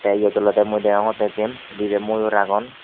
tay yot ole mui degongotte jem dibe moyor agon.